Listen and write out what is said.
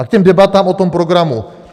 A k těm debatám o tom programu.